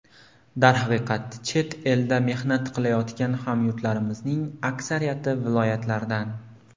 Darhaqiqat, chet elda mehnat qilayotgan hamyurtlarimizning aksariyati viloyatlardan.